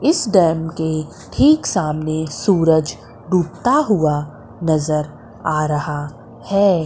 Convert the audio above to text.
इस डैम के ठीक सामने सूरज डूबता हुआ नजर आ रहा है।